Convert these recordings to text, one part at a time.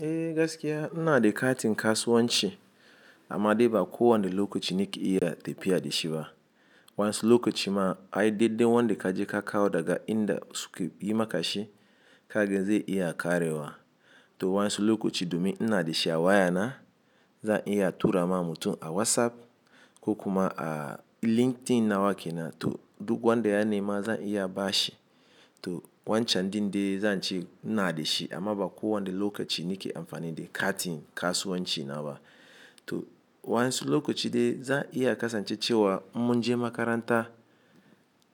Eh gaskiya ina da katin kasuwanci amma dai, ba kowane lokaci nake iya tafiya da shi ba. Wa'yansu lokaci ma, ai dai dai wanda ka je ka kawo daga inda suka yi maka shi ka gani zai iya ƙarewa. Toh, wani lokaci domin ina da shi a wayana, zan iya tura ma mutum a WhatsApp, ko kuma a LinkedIn nawa ke nan, toh duk wanda ya nema zan iya ba shi. To wancan din dai, zan ce ina da shi amma ba kowane lokaci nake amfani da katin kasuwanci na ba. Toh, wani lokaci dai zan iya kasance cewa mun je makaranta,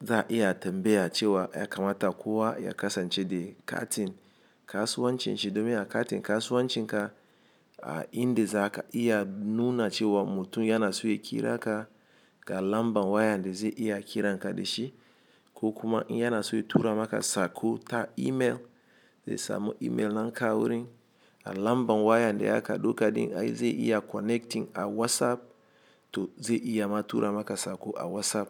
zan iya tambaya cewa ya kamata kowa ya kasance da katin kasuwancin shi, domin a katin kasuwancin ka, a inda za ka iya nuna cewa mutum yana so ya kira ka, ga lambar waya da zai iya kiran ka da shi, ko kuma in yana so ya tura maka sako ta email, zai samu email na kawai rin. A lambar waya da aka ɗauka din ai zai iya connecting a WhatsApp, toh zai iya ma tura maka sako a WhatsApp.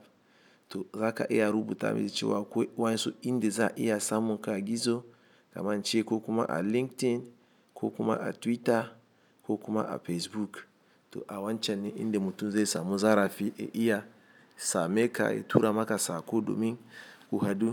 Toh, za ka iya rubuta masa cewa wai waisu inda za a iya samun ka gizo kamar ce ko kuma a LinkedIn, ko kuma a Twitter, ko kuma a Facebook. Toh, a wancan ne inda mutum zai samu zarafi, ya iya same ka, ya tura maka sako domin ku haɗu.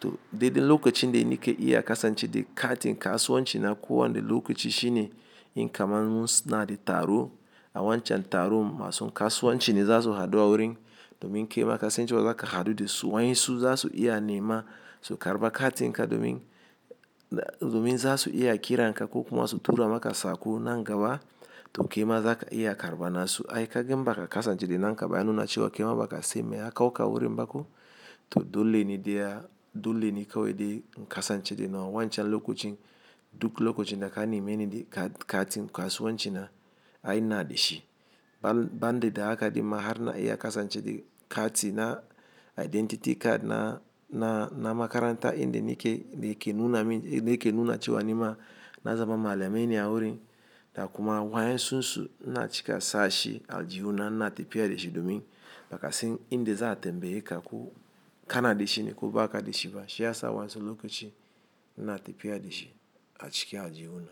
Toh, dai dai lokacin dai nake iya kasance da katin kasuwanci na kowane lokaci shine, in kamar mun suna da taro, a wancan taron masu kasuwanci ne za su haɗu a wurin domin kai ma kasancewa za ka haɗu da su. Wa'yansu za su iya nema su karɓa katinka domin, domin za su iya kiran ka ko kuma su tura maka sako nan gaba. Toh, kai ma za ka iya karɓa nasu. Ai kagen baka kasance da na ka ba, ya nuna cewa ki ma baka san me ya kawo ka wurin ba ko. Toh, dole ne dai a, dole ne kawai dai in kasance da nawa wancan lokacin duk lokacin da ka nemi ni da katin kasuwanci na, ai ina da shi. Ban, ban dai da haka dai ma har na iya kasance da katin na identity card na, na, na makaranta inda nake, nake nuna min, nake nuna cewa ni ma na zama malami ne a wurin. Da kuma, wa'yensu su ina ci ka sa shi a aljihuna ina tafiya da shi, domin bakasan inda za'a tambaye ka ko kana da shi ne ko ba ka da shi ba. Shi ya sa wani lokaci n'na tafiya da shi a ciki aljihuna.